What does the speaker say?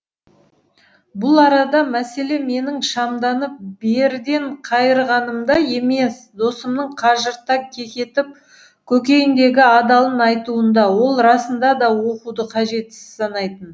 бұл арада мәселе менің шамданып беріден қайырғанымда емес досымның қыжырта кекетіп көкейіндегі адалын айтуында ол расында да оқуды қажетсіз санайтын